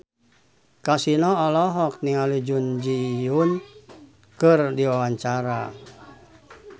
Kasino olohok ningali Jun Ji Hyun keur diwawancara